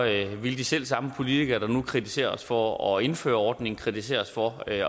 ville de selv samme politikere der nu kritiserer os for at indføre ordningen kritisere os for at